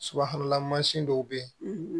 Subahana mansin dɔw bɛ yen